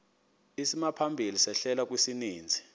isimaphambili sehlelo kwisininzi